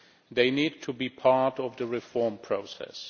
They need to be part of the reform process.